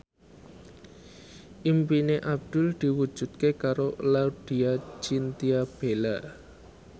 impine Abdul diwujudke karo Laudya Chintya Bella